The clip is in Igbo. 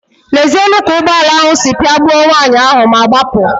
Lezienu ka ụgbọala ahụ si pịagbuo nwaanyị ahụ ma gbapụ.